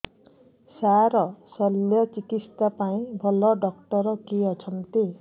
ସାର ଶଲ୍ୟଚିକିତ୍ସା ପାଇଁ ଭଲ ଡକ୍ଟର କିଏ ଅଛନ୍ତି